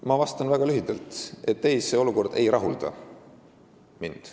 Ma vastan väga lühidalt, et ei, see olukord ei rahulda mind.